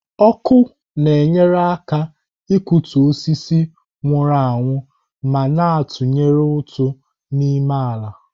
Ọkụ na-enyere aka ịkụtu osisi nwụrụ anwụ ma na-atụnye ụtụ n'ịmụ ala.